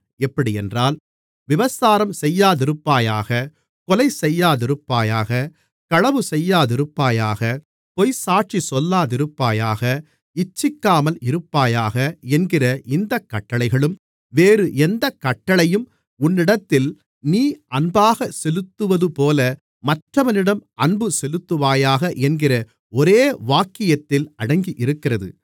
எப்படியென்றால் விபசாரம் செய்யாதிருப்பாயாக கொலை செய்யாதிருப்பாயாக களவு செய்யாதிருப்பாயாக பொய்ச்சாட்சி சொல்லாதிருப்பாயாக இச்சிக்காமல் இருப்பாயாக என்கிற இந்தக் கட்டளைகளும் வேறு எந்தக் கட்டளையும் உன்னிடத்தில் நீ அன்பாக செலுத்துவதுபோல மற்றவனிடமும் அன்புசெலுத்துவாயாக என்கிற ஒரே வாக்கியத்தில் அடங்கியிருக்கிறது